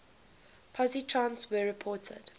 positrons were reported